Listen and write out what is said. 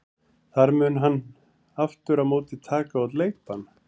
Þar mun hann aftur á móti taka út leikbann.